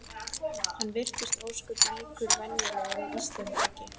Hann virtist ósköp líkur venjulegum Íslendingi.